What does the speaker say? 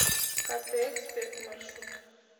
кт эксперт маршрут